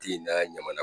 Ti n'a ɲanamana